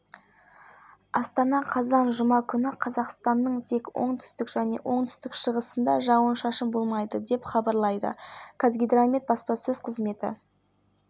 қарағанды және шығыс қазақстан облыстарында жауын-шашын жел күші ауа температурасы күндіз қарағанды облысында тұман көктайғақ шығыс қазақстан облыстарында желдің екпіні жетуі